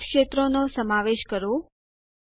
બધાજ ક્ષેત્રોનો સમાવેશ કરો